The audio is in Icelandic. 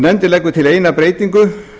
nefndin leggur til eina breytingu